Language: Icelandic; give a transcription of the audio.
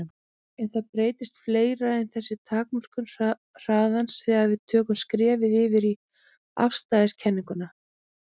En það breytist fleira en þessi takmörkun hraðans þegar við tökum skrefið yfir í afstæðiskenninguna.